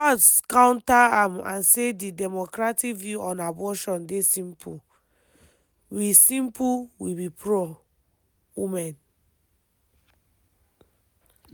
walz counter am and say di democratic view on abortion dey simple: “we simple: “we be pro-women.